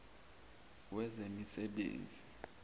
wezemisebenzi